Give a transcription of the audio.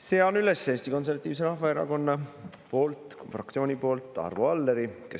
Sean üles Eesti Konservatiivse Rahvaerakonna fraktsiooni poolt Arvo Alleri.